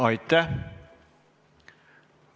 Aitäh!